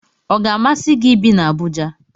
Ọ ga-amasi gị ibi na Abuja?